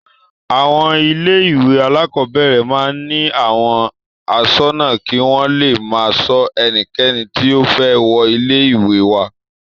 Àwọn ilé-ìwé alákọ̀ọ́bẹ̀rẹ̀ máa ń ní àwọn aṣọ́nà kí wọ́n le máa ṣọ ẹnikẹ́ni tí ó fẹ́ wọ ilé-ìwé wá.